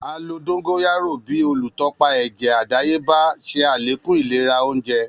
A lo dongoyaro bi olutọpa ẹjẹ adayeba, ṣe alekun ilera ounjẹ.